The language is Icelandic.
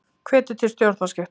Hvetur til stjórnarskipta